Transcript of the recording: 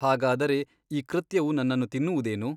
ಹಾಗಾದರೆ ಈ ಕೃತ್ಯವು ನನ್ನನ್ನು ತಿನ್ನುವುದೇನು !